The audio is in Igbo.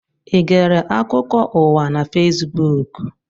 I gere akụkọ ụwa na Fesbuku?